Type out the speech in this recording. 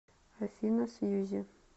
афина сьюзи